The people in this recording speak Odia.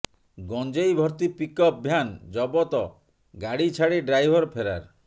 ଗଞ୍ଜେଇ ଭର୍ତ୍ତି ପିକଅପ୍ ଭ୍ୟାନ୍ ଜବତ ଗାଡି ଛାଡି ଡ୍ରାଇଭର ଫେରାର